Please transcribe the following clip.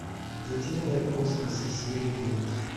затерянные в космосе серия девять